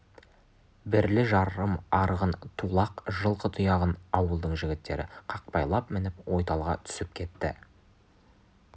бірлі-жарым арыған тулақ жылқы тұяғын ауылдың жігіттері қақпайлап мініп ойталға түсіп кетті